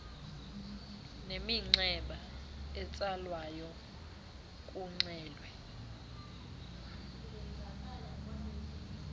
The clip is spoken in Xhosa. neminxeba etsalwayo kuxelwe